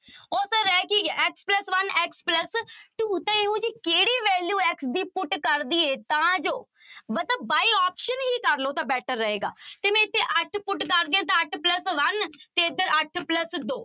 ਉਹ ਤਾਂ ਰਹਿ ਕੀ ਗਿਆ x plus one x plus two ਤਾਂ ਇਹੋ ਜਿਹੀ ਕਿਹੜੀ value x ਦੀ put ਕਰ ਦੇਈਏ ਤਾਂ ਜੋ ਮਤਲਬ by option ਹੀ ਕਰ ਲਓ ਤਾਂ better ਰਹੇਗਾ ਜੇ ਮੈਂ ਇੱਥੇ ਅੱਠ put ਕਰਦੀ ਹਾਂ ਤਾਂ ਅੱਠ plus one ਤੇ ਇੱਧਰ ਅੱਠ plus ਦੋ